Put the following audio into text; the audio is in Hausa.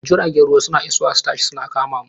Jiragen ruwa suna isowa su tashi, suna kama mu.